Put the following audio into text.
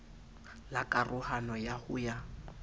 la karohano ya ho ya